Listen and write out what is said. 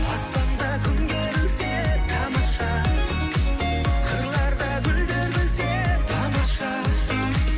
аспанда күн керілсе тамаша қырларда гүлдер күлсе тамаша